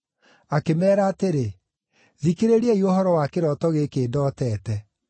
Akĩmeera atĩrĩ, “Thikĩrĩriai ũhoro wa kĩroto gĩkĩ ndootete: